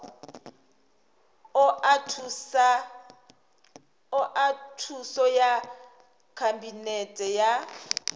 oa thuso ya khabinete wa